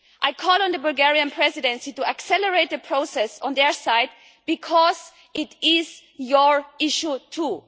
I call on the Bulgarian Presidency to accelerate the process on their side, because it is their issue too.